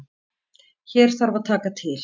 Hér þarf að taka til.